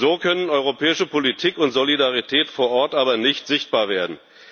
So können europäische Politik und Solidarität vor Ort aber nicht sichtbar werden.